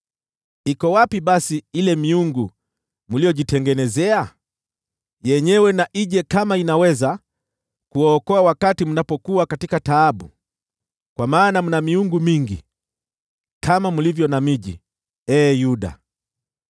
Iko wapi basi ile miungu mliyojitengenezea? Yenyewe na ije kama inaweza kuwaokoa wakati mko katika taabu! Kwa maana mna miungu mingi kama mlivyo na miji, ee Yuda.